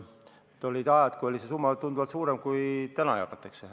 Olid ajad, kui see summa oli tunduvalt suurem kui see, mis täna jagatakse.